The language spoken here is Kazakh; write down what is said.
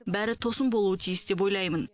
бәрі тосын болуы тиіс деп ойлаймын